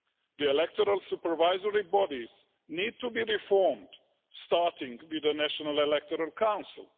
The electoral supervisory bodies need to be reformed, starting with the National Electoral Council.